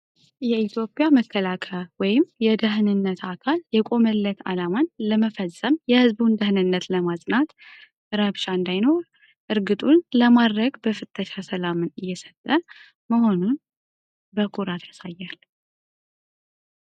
የኢትዮጵያ መካላከያ(የደህንነት አካል) የቆመለት አላማን ለመፈጸም የሕዝቡን ደሕንነት ለማፅናት ፤ ረብሻ እንዳይኖር እርግጡን ለማድረግ በፍተሻ ሰላምን እየሰጠ መሆኑን በኩራት ያሳያል።